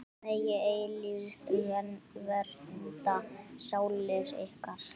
Megi eilífð vernda sálir ykkar.